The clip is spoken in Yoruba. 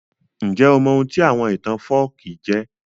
Njẹ́ o mọ oun tí àwon ìtàn folkí jẹ́?